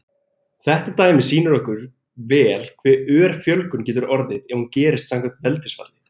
Þetta dæmi sýnir okkur vel hve ör fjölgun getur orðið ef hún gerist samkvæmt veldisfalli.